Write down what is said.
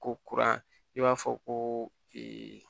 Ko kuran i b'a fɔ ko